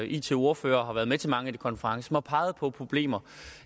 it ordfører og har været med til mange af de konferencer har peget på problemer